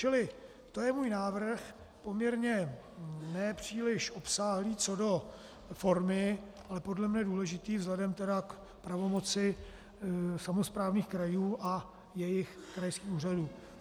Čili to je můj návrh, poměrně ne příliš obsáhlý co do formy, ale podle mě důležitý vzhledem tedy k pravomoci samosprávných krajů a jejich krajských úřadů.